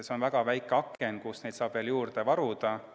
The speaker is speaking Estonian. See on väga väike aken, mille vältel saab neid veel juurde varuda.